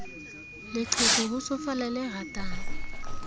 leqheku ho tsofala le ratang